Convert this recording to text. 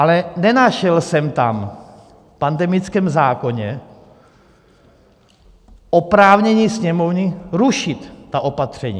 Ale nenašel jsem tam v pandemickém zákoně oprávnění Sněmovny rušit ta opatření.